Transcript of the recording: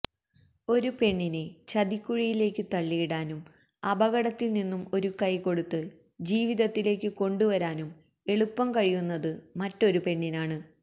ഒരു പെണ്ണിനെ ചതിക്കുഴിയിലേക്കു തള്ളിയിടാനും അപകടത്തിൽ നിന്നും ഒരു കൈകൊടുത്ത് ജീവിതത്തിലേക്കു കൊണ്ടുവരാനും എളുപ്പം കഴിയുന്നത് മറ്റൊരു പെണ്ണിനാണ്